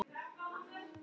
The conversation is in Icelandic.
Hún spurði hann að nafni.